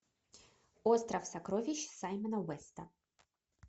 остров сокровищ саймона уэста